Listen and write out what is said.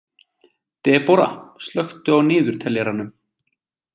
Debora, slökktu á niðurteljaranum.